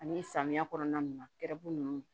Ani samiya kɔnɔna na ru nunnu